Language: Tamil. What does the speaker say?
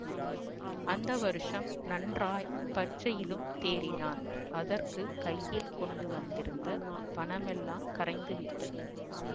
அந்த வருஷம் நன்றாய் பரிட்சையிலும் தேறினான் அதற்கு கையில் கொண்டு வந்திருந்த பணமெல்லாம் கரைந்துவிட்டது